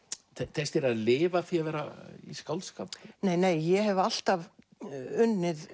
tekst þér að lifa af því að vera í skáldskap nei nei ég hef alltaf unnið